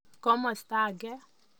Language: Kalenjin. Komasta age.